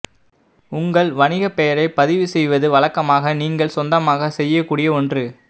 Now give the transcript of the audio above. உங்கள் வணிக பெயரைப் பதிவுசெய்வது வழக்கமாக நீங்கள் சொந்தமாக செய்யக்கூடிய ஒன்று